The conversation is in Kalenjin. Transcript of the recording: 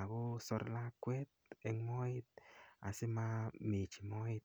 akosor lakwet eng moet asimamechi moet